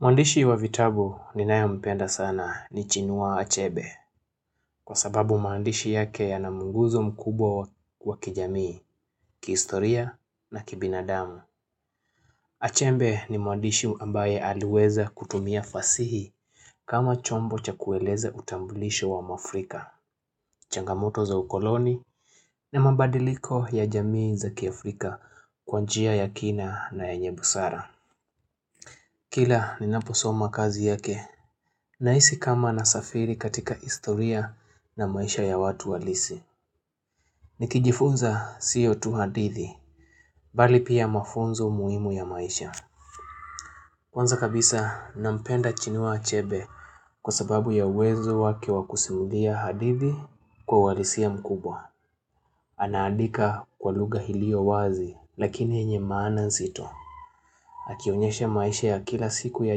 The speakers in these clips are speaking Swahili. Mwandishi wa vitabu ninayempenda sana ni chinua achebe Kwa sababu maandishi yake yanamuunguzo mkubwa wa kijamii, kihistoria na kibinadamu Achebe ni mwandishi ambaye aliweza kutumia fasihi kama chombo cha kueleza utambulisho wa mwafrika changamoto za ukoloni ni mabadiliko ya jamii za kiafrika kwa njia ya kina na yenye busara Kila ninaposoma kazi yake, nahisi kama na safiri katika historia na maisha ya watu halisi. Nikijifunza siyo tu hadithi, bali pia mafunzo muhimu ya maisha. Kwanza kabisa, nampenda chinua achebe kwa sababu ya uwezo wake wakusimulia hadithi kwa uhalisia mkubwa. Anaandika kwa lugha iliyo wazi, lakini yenye maana nzito. Akionyesha maisha ya kila siku ya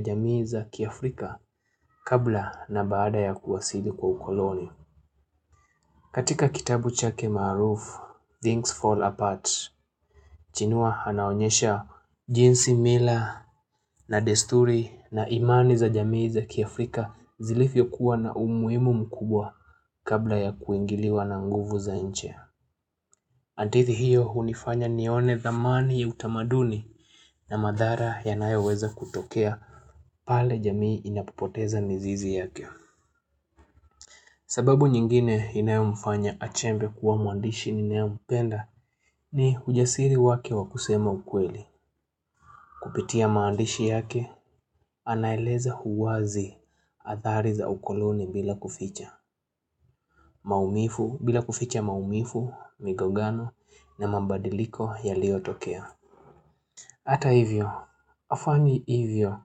jamii za kiafrika kabla na baada ya kuwasili kwa ukoloni katika kitabu chake maaruf, Things Fall Apart Chinua anaonyesha jinsi mila na desturi na imani za jamii za kiafrika zilivyokuwa na umuhimu mkubwa kabla ya kuingiliwa na nguvu za nchia hadithi hiyo hunifanya nione thamani ya utamaduni na madhara yanayoweza kutokea pale jamii inapopoteza mizizi yake. Sababu nyingine inayomfanya achembe kuwa mwandishi ninayempenda ni ujasiri wake wakusema ukweli. Kupitia maandishi yake anaeleza huu wazi athari za ukoloni bila kuficha. Maumivu bila kuficha maumivu, migogano na mabadiliko yaliyotokea. Hata hivyo, hafanyi hivyo,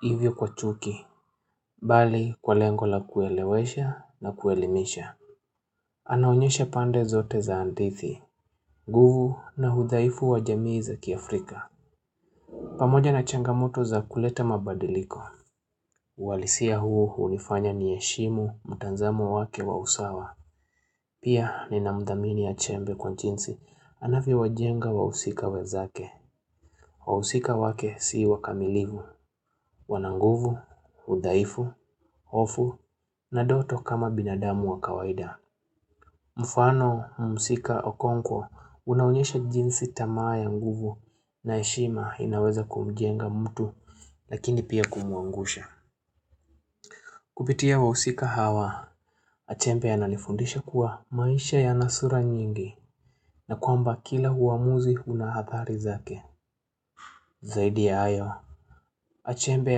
hivyo kwa chuki, bali kwa lengo la kuelewesha na kuelimisha. Anaonyesha pande zote za hadithi, nguvu na udhaifu wa jamii za kiafrika. Pamoja na changamoto za kuleta mabadiliko, huwalisia huu hunifanya ni heshimu, mtazamo wake wa usawa. Pia nina mdhamini achembe kwa jinsi, anavyowajenga wa husika wenzake. Wahusika wake si wakamilivu, wananguvu, udhaifu, hofu na ndoto kama binadamu wa kawaida. Mfano, mhusika, okonkwo, unaonyesha jinsi tamaa ya nguvu na heshima inaweza kumjenga mtu lakini pia kumwangusha. Kupitia wahusika hawa, achembe ananifundisha kuwa maisha yana sura nyingi na kwamba kila uamuzi unaathari zake. Zaidi ya hayo, achembe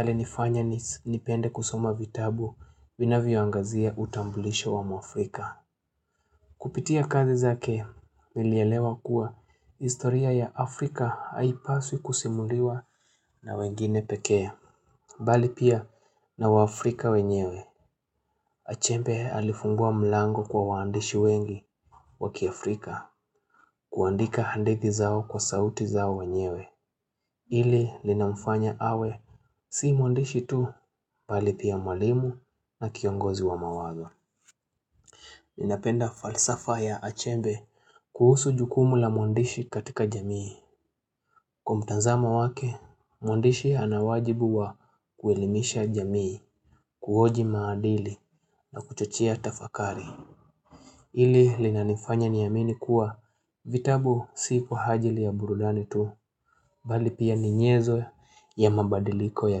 alinifanya nipende kusoma vitabu viinavyoangazia utambulisho wa mwaafrika. Kupitia kazi zake, nilielewa kuwa historia ya Afrika haipaswi kusimuliwa na wengine pekee. Bali pia na wa afrika wenyewe, achembe alifungua mlango kwa waandishi wengi wakiafrika kuandika hadithi zao kwa sauti zao wenyewe. Hili linamfanya awe si mwandishi tu bali pia mwalimu na kiongozi wa mawazo Ninapenda falsafa ya achembe kuhusu jukumu la mwandishi katika jamii Kwa mtazamo wake mwandishi anawajibu wa kuelimisha jamii kuhoji maadili na kuchochea tafakari ili linanifanya ni amini kuwa vitabu si kwa ajili ya burudani tu bali pia ninyezo ya mabadiliko ya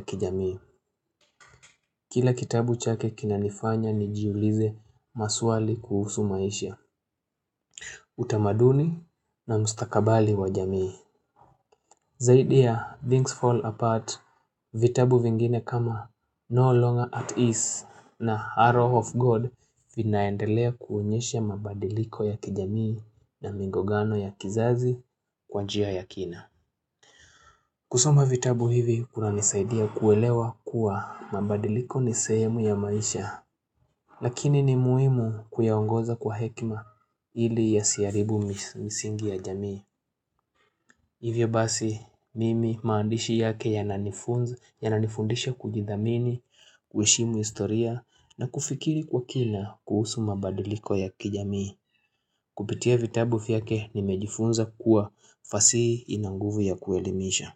kijamii Kila kitabu chake kinanifanya nijiulize maswali kuhusu maisha utamaduni na mstakabali wa jamii Zaidi ya things fall apart vitabu vingine kama no longer at ease na arrow of God vinaendelea kuonyesha mabadiliko ya kijamii na mingogano ya kizazi kwa njia ya kina kusoma vitabu hivi kunanisaidia kuelewa kuwa mabadiliko ni sehemu ya maisha lakini ni muhimu kuyaongoza kwa hekima ili yasiharibu misingi ya jamii. Hivyo basi mimi maandishi yake yananifundisha kujidhamini, kuheshimu historia na kufikiri kwa kina kuhusu mabadiliko ya kijamii. Kupitia vitabu vyake nimejifunza kuwa fasihi inanguvu ya kuelimisha.